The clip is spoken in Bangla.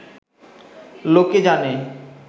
লোকে জানে